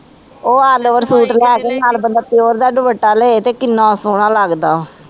ਉਹ all over suit ਲੈ ਕੇ ਤੇ ਨਾਲ ਬੰਦਾ ਪਿਉਰ ਦਾ ਦੁੱਪਟਾ ਲਏ ਤੇ ਕਿੰਨਾ ਸੋਹਣਾ ਲਗਦਾ